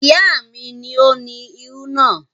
Ìyá mi ni ó ni irú náà.